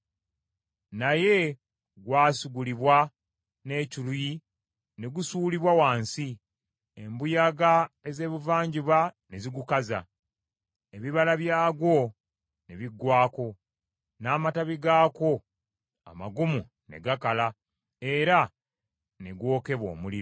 Naye gwasigulibwa n’ekiruyi ne gusuulibwa wansi; embuyaga ez’Ebuvanjuba ne zigukaza, ebibala byagwo ne biggwaako, n’amatabi gaakwo amagumu ne gakala, era ne gwokebwa omuliro.